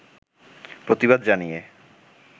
প্রতিবাদ জানিয়ে